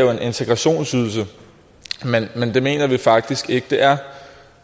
jo en integrationsydelse men det mener vi faktisk ikke det er